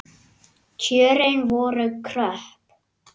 Kjörin voru kröpp.